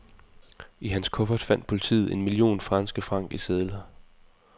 I hans kuffert fandt politiet en million franske franc i sedler.